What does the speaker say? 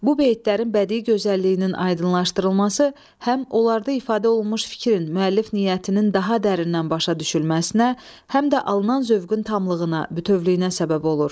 Bu beytlərin bədii gözəlliyinin aydınlaşdırılması, həm onlarda ifadə olunmuş fikrin, müəllif niyyətinin daha dərindən başa düşülməsinə, həm də alınan zövqün tamlığına, bütövlüyünə səbəb olur.